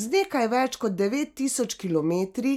Z nekaj več kot devet tisoč kilometri